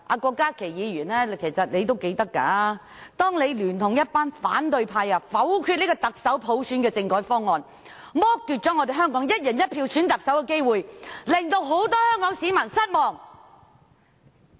郭議員應該還記得，當時他聯同一群反對派議員否決特首普選的政改方案，剝奪了香港"一人一票"選特首的機會，令到很多香港市民失望。